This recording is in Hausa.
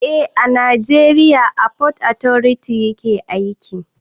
Eh a najeriya fot otoriti yake aiki